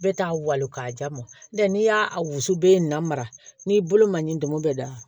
Bɛɛ t'a wali ka ja ma n'o tɛ n'i y'a a wusu bɛ in na mara n'i bolo man ɲi donmo bɛɛ da